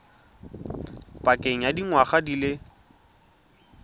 pakeng ya dingwaga di le